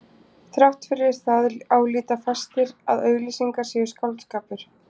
Þrátt fyrir það álíta fæstir að auglýsingar séu skáldskapur.